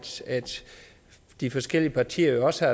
de forskellige partier også